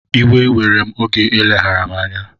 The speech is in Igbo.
Iwe were oge eleghara m anya